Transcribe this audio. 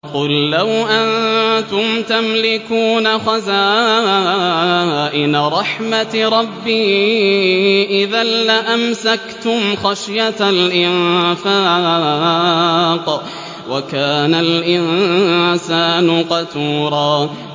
قُل لَّوْ أَنتُمْ تَمْلِكُونَ خَزَائِنَ رَحْمَةِ رَبِّي إِذًا لَّأَمْسَكْتُمْ خَشْيَةَ الْإِنفَاقِ ۚ وَكَانَ الْإِنسَانُ قَتُورًا